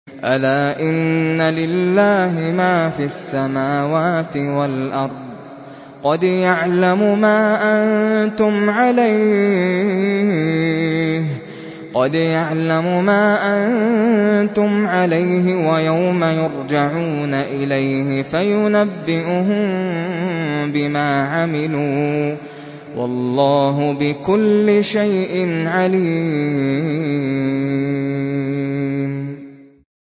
أَلَا إِنَّ لِلَّهِ مَا فِي السَّمَاوَاتِ وَالْأَرْضِ ۖ قَدْ يَعْلَمُ مَا أَنتُمْ عَلَيْهِ وَيَوْمَ يُرْجَعُونَ إِلَيْهِ فَيُنَبِّئُهُم بِمَا عَمِلُوا ۗ وَاللَّهُ بِكُلِّ شَيْءٍ عَلِيمٌ